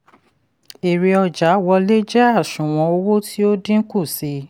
èrè ọjà wọlé jẹ́ àṣùwọ̀n owó tí ó dínkù sí i.